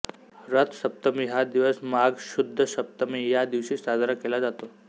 रथसप्तमी हा दिवस माघ शुद्ध सप्तमी या दिवशी साजरा केला जातो